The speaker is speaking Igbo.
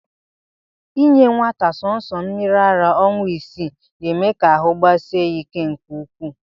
Inye nwata sọọsọ mmiri ara ọnwa isii, na-eme ka ahụ gbasie ya ike nke ukwuu